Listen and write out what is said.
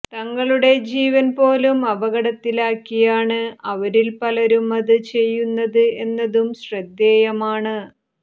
തങ്ങളുടെ ജീവൻ പോലും അപകടത്തിലാക്കിയാണ് അവരിൽ പലരും അത് ചെയ്യുന്നത് എന്നതും ശ്രദ്ധേയമാണ്